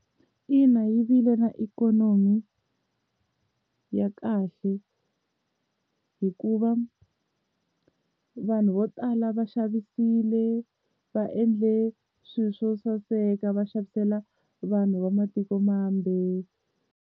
Ina yi vile na ikhonomi ya kahle hikuva vanhu vo tala va xavisile va endle swilo swo saseka va endlela vanhu va matiko mambe.